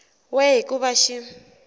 we hi ku va xi